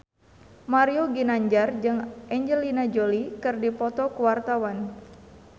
Mario Ginanjar jeung Angelina Jolie keur dipoto ku wartawan